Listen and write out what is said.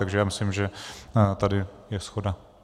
Takže si myslím, že tady je shoda.